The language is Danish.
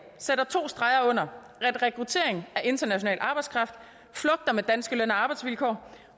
sætter to streger under at rekrutteringen af international arbejdskraft flugter med danske løn og arbejdsvilkår